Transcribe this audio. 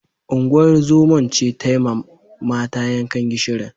Unguwar zoman ce tai mata yankan gishirin.